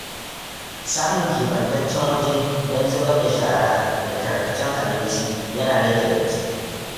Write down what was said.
Samun keɓantaccen waje don zubar da shara da tarkacen abinci yana rage datti.